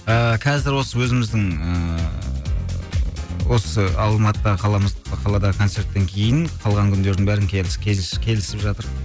ыыы қазір осы өзіміздің ыыы осы алматы қаламыз қалада концерттен кейін қалған күндердің бәрін келісіп жатыр